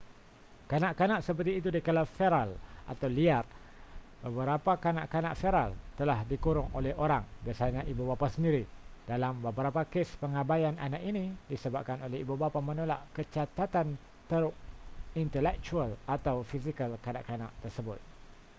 kanak-kanak seperti itu digelar feral” atau liar. beberapa kanak-kanak feral telah dikurung oleh orang biasanya ibu bapa sendiri; dalam beberapa kes pengabaian anak ini disebabkan oleh ibu bapa menolak kecacatan teruk intelektual atau fizikal kanak-kanak tersebut